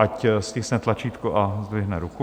Ať stiskne tlačítko a zdvihne ruku.